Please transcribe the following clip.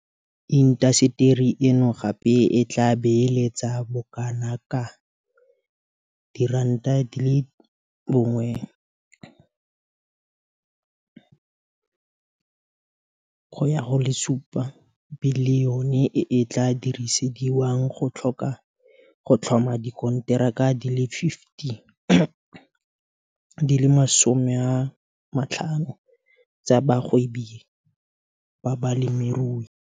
Intaseteri eno gape e tla beeletsa bokanaka R1.7 bilione e e tla dirisediwang go tlhoma dikonteraka di le 50 tsa bagwebi ba balemirui.